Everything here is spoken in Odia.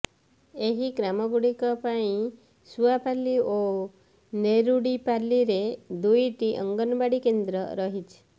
ଏହି ଗ୍ରାମଗୁଡିକ ପାଇଁ ସୁଆପାଲ୍ଲୀ ଓ ନେରୁଡିପାଲ୍ଲୀରେ ଦୁଇଟି ଅଙ୍ଗନବାଡି କେନ୍ଦ୍ର ରହିଛି